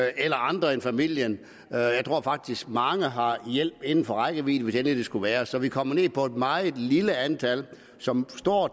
eller andre end familien jeg tror faktisk at mange har hjælp inden for rækkevidde hvis det endelig skulle være så vi kommer ned på et meget lille antal som